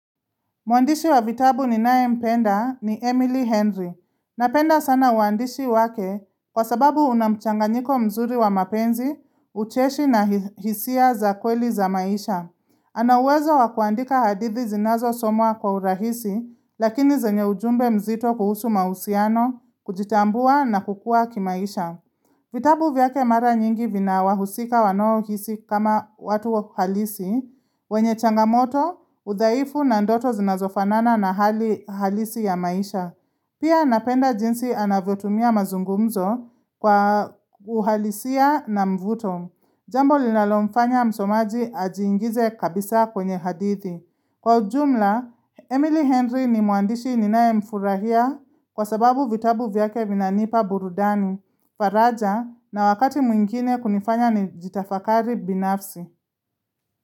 Mwandishi wa vitabu ni NayeMpenda ni Emily Henry. Napenda sana uandishi wake kwa sababu unamchanganyiko mzuri wa mapenzi, ucheshi na hisia za kweli za maisha. Anauwezo wa kuandika hadithi zinazosomwa kwa urahisi, lakini zanye ujumbe mzito kuhusu mahusiano, kujitambua na kukua kimaisha. Vitabu vyake mara nyingi vina wahusika wanaohisi kama watu halisi, wenye changamoto, udhaifu na ndoto zinazofanana na hali halisi ya maisha. Pia napenda jinsi anavyo tumia mazungumzo kwa uhalisia na mvuto. Jambo linalomfanya msomaji ajiingize kabisa kwenye hadithi. Kwa ujumla, Emily Henry ni mwandishi ninaye mfurahia kwa sababu vitabu vyake vinanipa burudani, faraja na wakati mwingine kunifanya nijitafakari binafsi.